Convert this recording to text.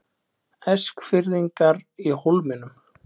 Eskfirðingar í Hólminum